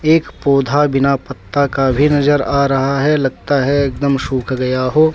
एक पौधा बिना पत्ता का भी नजर आ रहा है लगता है एकदम सूख गया हो।